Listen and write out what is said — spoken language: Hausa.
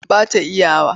Ba ta iya wa.